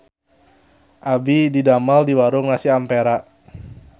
Abdi didamel di Warung Nasi Ampera